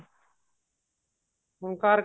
ਹੁਣ ਘਰ